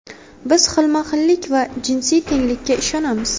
Biz xilma-xillik va jinsiy tenglikka ishonamiz”.